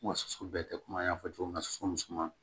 Wa soso bɛɛ tɛ komi an y'a fɔ cogo min na sosoman